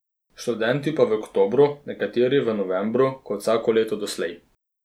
Študenti pa v oktobru, nekateri v novembru, kot vsako leto doslej.